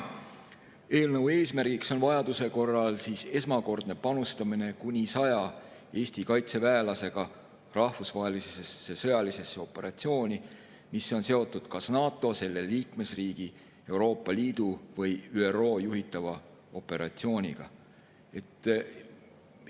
Eelnõu eesmärk on vajaduse korral kuni 100 Eesti kaitseväelase esmakordsel panustamisel kas NATO, selle liikmesriigi, Euroopa Liidu või ÜRO juhitavasse rahvusvahelisse sõjalisse operatsiooni.